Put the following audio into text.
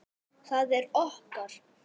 Það er okkar.